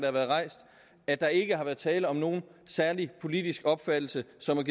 har været rejst at der ikke har været tale om nogen særlig politisk opfattelse som er